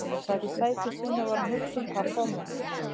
Emil sat í sæti sínu og var að hugsa um pabba og mömmu.